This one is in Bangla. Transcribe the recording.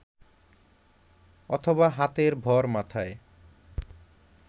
অথবা হাতের ভর মাথায়